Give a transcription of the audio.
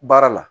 Baara la